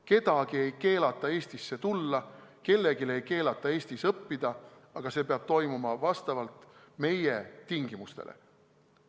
Kellelgi ei keelata Eestisse tulla, kellelgi ei keelata Eestis õppida, aga see peab toimuma vastavalt meie tingimustele.